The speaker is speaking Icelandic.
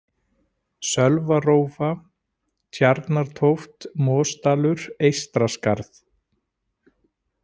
Sölvarófa, Tjarnartóft, Mosdalur, Eystraskarð